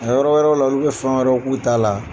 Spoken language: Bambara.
yɔrɔ wɛrɛw la ulu bɛ fɛn wɛrɛw k'u ta la.